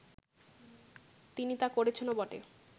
তিনি তা করেছেনও বটে